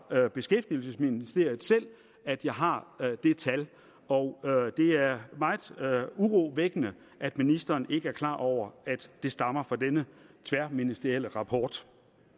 beskæftigelsesministeriet selv at jeg har det tal og det er meget urovækkende at ministeren ikke er klar over at det stammer fra denne tværministerielle rapport